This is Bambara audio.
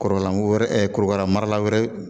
Kɔrɔlanko wɛrɛ korokara marala wɛrɛ